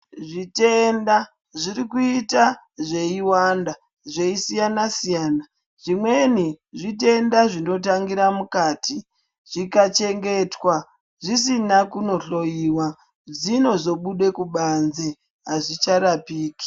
Zvitenda zvirikuita zveiwanda zveisiyanasiyana zvimweni zvitenda zvinotangire mukati zvikachengetwa zvisina kunohloyiwa zvinozobude kubanzi azvicharapiki.